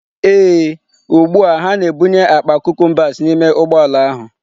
Ee, ugbu a ha na-ebunye akpa cucumbers n'ime ụgbọ ala ahụ.